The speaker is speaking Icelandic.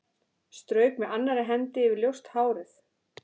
Strauk með annarri hendi yfir ljóst hárið.